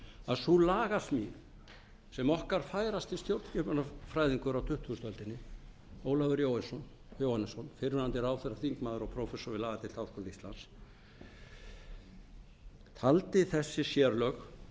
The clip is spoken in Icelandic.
að sú lagasmíð sem okkar færasti stjórnskipunarfræðingur á tuttugustu öldinni ólafur jóhannesson fyrrverandi ráðherra þingmaður og prófessor við lagadeild háskóla íslands taldi þessi sérlög